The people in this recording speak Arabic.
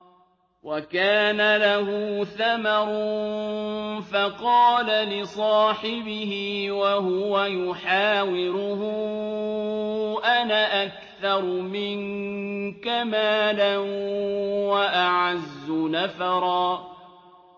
وَكَانَ لَهُ ثَمَرٌ فَقَالَ لِصَاحِبِهِ وَهُوَ يُحَاوِرُهُ أَنَا أَكْثَرُ مِنكَ مَالًا وَأَعَزُّ نَفَرًا